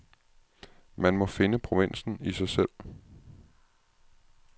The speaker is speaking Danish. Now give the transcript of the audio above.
Man må finde provinsen i sig selv.